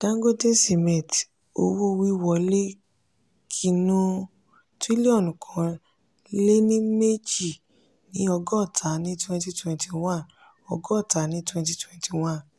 dangote cement owo-wiwọle kinu trillion kan lénì èjì ní ọgọ́ta ní twenty twenty one. ọgọ́ta ní twenty twenty one.